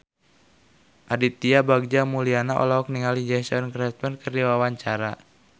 Aditya Bagja Mulyana olohok ningali Jason Statham keur diwawancara